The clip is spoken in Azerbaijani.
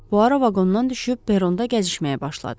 Poirot vaqondan düşüb peronda gəzişməyə başladı.